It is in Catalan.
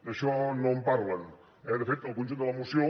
d’això no en parlen eh de fet el conjunt de la moció